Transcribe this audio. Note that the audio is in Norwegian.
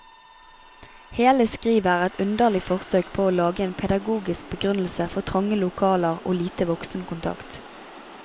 Hele skrivet er et underlig forsøk på å lage en pedagogisk begrunnelse for trange lokaler og lite voksenkontakt.